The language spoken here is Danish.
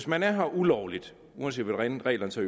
man er her ulovligt uanset hvordan reglerne så